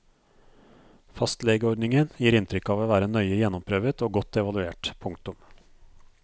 Fastlegeordningen gir inntrykk av å være nøye gjennomprøvet og godt evaluert. punktum